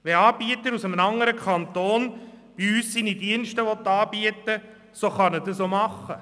Wenn ein Anbieter aus einem anderen Kanton in unserem Kanton tätig werden will, darf er dies tun.